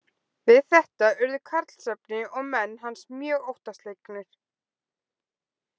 Við þetta urðu Karlsefni og menn hans mjög óttaslegnir.